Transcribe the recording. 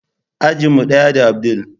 Ajin mu daya da abdul.